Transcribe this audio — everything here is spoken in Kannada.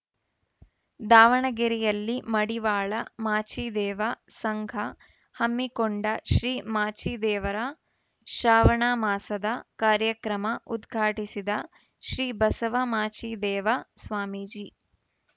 ದಾವಣಗೆರೆಯಲ್ಲಿ ಮಡಿವಾಳ ಮಾಚಿದೇವ ಸಂಘ ಹಮ್ಮಿಕೊಂಡ ಶ್ರೀ ಮಾಚಿದೇವರ ಶ್ರಾವಣ ಮಾಸದ ಕಾರ್ಯಕ್ರಮ ಉದ್ಘಾಟಿಸಿದ ಶ್ರೀ ಬಸವ ಮಾಚಿದೇವ ಸ್ವಾಮೀಜಿ